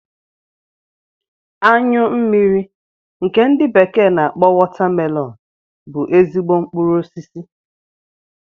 Anyụ mmiri nke ndi bekee n'akpọ Watermelon bú ezigbo mkpụrụ osisi